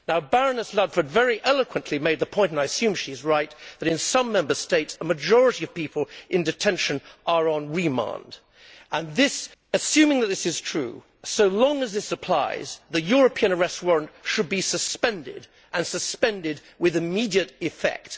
Baroness Ludford very eloquently made the point, and I assume she is right, that in some Member States a majority of people in detention are on remand and, assuming that this is true, so long as this applies, the European arrest warrant should be suspended, and suspended with immediate effect.